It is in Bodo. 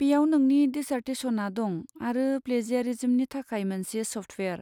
बेयाव नोंनि डिसार्टेसनआ दं आरो प्लेजियारिज्मनि थाखाय मोनसे सफ्टवेयार।